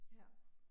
Ja